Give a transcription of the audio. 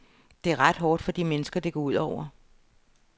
Det er ret hårdt for de mennesker, det går ud over.